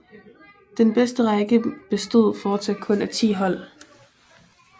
Den bedste række bestod forsat kun af 10 hold